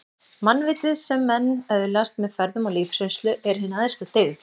Mannvitið, sem menn öðlast með ferðum og lífsreynslu, er hin æðsta dyggð